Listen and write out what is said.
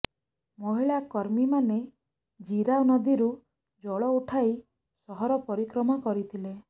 ମହିଳା କର୍ମୀମାନେ ଜିରା ନଦୀରୁ ଜଳ ଉଠାଇ ସହର ପରିକ୍ରମା କରିଥିଲେ